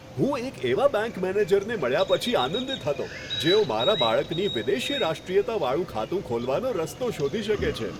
હું એક એવા બેંક મેનેજરને મળ્યા પછી આનંદિત હતો, જેઓ મારા બાળકની વિદેશી રાષ્ટ્રીયતાવાળુ ખાતું ખોલવાનો રસ્તો શોધી શકે છે.